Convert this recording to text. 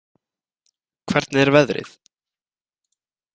Hvernig er veðrið?